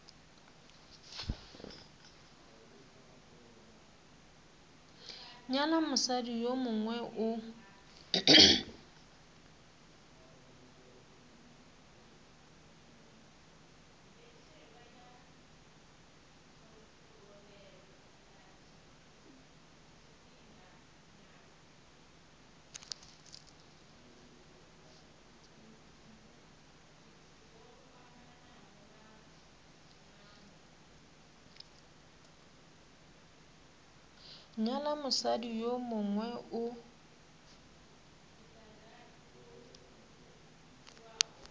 nyala mosadi yo mongwe o